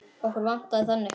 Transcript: Okkur vantaði þannig.